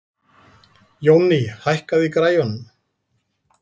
Jónný, hækkaðu í græjunum.